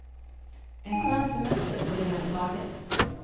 En skön semester, på det hela taget.